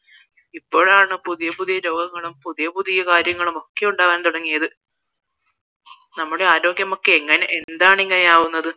ഇപ്പോഴാണ് പുതിയ പുതിയ രോഗങ്ങളും പുതിയ പുതിയ കാര്യങ്ങളും ഒക്കെ ഉണ്ടാവാന് തുടങ്ങിയത് നമ്മുടെ ആരോഗ്യമൊക്കെ എന്താണ് ഇങ്ങനെയാവുന്നത്